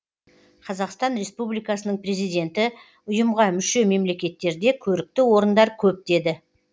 қазақстан республикасының президенті ұйымға мүше мемлекеттерде көрікті орындар көп деді